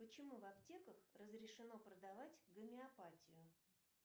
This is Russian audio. почему в аптеках разрешено продавать гомеопатию